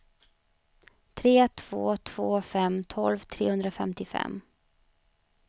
tre två två fem tolv trehundrafemtiofem